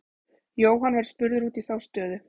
Jóhann var spurður út í þá stöðu.